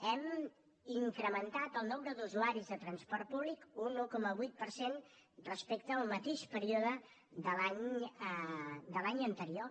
hem incrementat el nombre d’usuaris de transport públic un un coma vuit per cent respecte al mateix període de l’any anterior